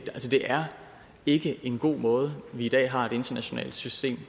altså det er ikke en god måde vi i dag har et internationalt system